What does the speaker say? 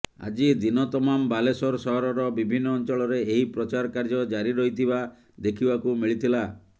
ଆଜି ଦିନ ତମାମ ବାଲେଶ୍ୱର ସହରର ବିଭିନ୍ନ ଅଞ୍ଚଳରେ ଏହି ପ୍ରଚାର କାର୍ଯ୍ୟ ଜାରି ରହିଥିବା ଦେଖିବାକୁ ମିଳିଥିଲା